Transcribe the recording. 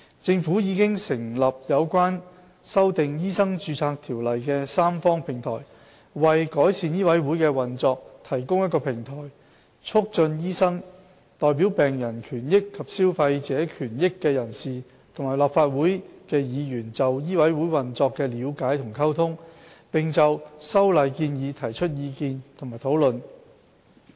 政府已成立有關修訂《醫生註冊條例》的三方平台，為改善醫委會的運作提供平台，以促進醫生、代表病人權益及消費者權益的人士和立法會議員就醫委會運作的了解及溝通，並就修例建議提出意見和討論。